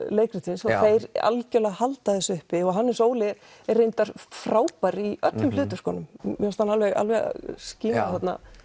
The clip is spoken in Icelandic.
leikritsins og þeir algjörlega halda þessu uppi og Hannes Óli er reyndar frábær í öllum hlutverkunum mér fannst hann alveg alveg skína þarna